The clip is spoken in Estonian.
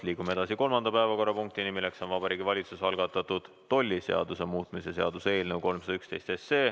Liigume edasi kolmanda päevakorrapunkti juurde, milleks on Vabariigi Valitsuse algatatud tolliseaduse muutmise seaduse eelnõu 311.